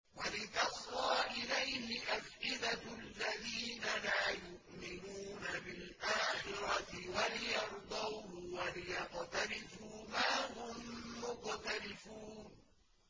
وَلِتَصْغَىٰ إِلَيْهِ أَفْئِدَةُ الَّذِينَ لَا يُؤْمِنُونَ بِالْآخِرَةِ وَلِيَرْضَوْهُ وَلِيَقْتَرِفُوا مَا هُم مُّقْتَرِفُونَ